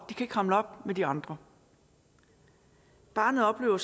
kan ikke hamle op med de andre barnet oplever